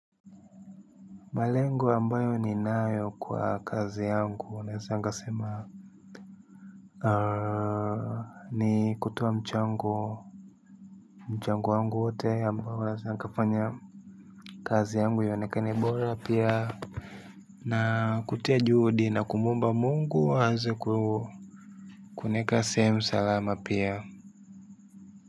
Malengo ambayo ninayo kwa kazi yangu, naeza nkasema. Ni kutoa mchango. Mchango wangu wote ambao naeza nkafanya kazi yangu ionekane bora, pia. Na kutia juhudi na kumuomba Mungu aezeku, kunieka sehemu salama pia.